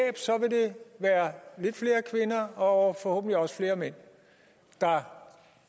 være lidt flere kvinder og forhåbentlig også flere mænd der